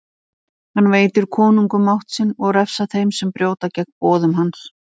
Hann veitir konungum mátt sinn og refsar þeim sem brjóta gegn boðum hans.